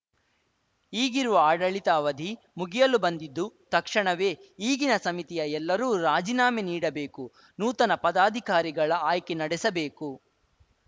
ಈಗಿರುವ ಆಡಳಿತ ಅವಧಿ ಮುಗಿಯಲು ಬಂದಿದ್ದು ತಕ್ಷಣವೇ ಈಗಿನ ಸಮಿತಿಯ ಎಲ್ಲರೂ ರಾಜೀನಾಮೆ ನೀಡಬೇಕು ನೂತನ ಪದಾಧಿಕಾರಿಗಳ ಆಯ್ಕೆ ನಡೆಸಬೇಕು